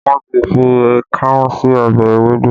Wọn ti fi káún sí ọbẹ̀ ewédú